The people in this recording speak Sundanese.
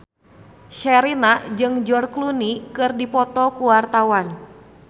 Sherina jeung George Clooney keur dipoto ku wartawan